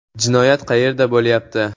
“Jinoyat qayerda bo‘lyapti?